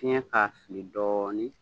Fiɲɛ k'a fili dɔɔnin